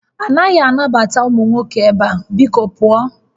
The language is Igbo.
A naghị anabata ụmụ nwoke ebe a! Biko pụọ